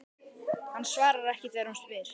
Hann svarar ekki þegar hún spyr.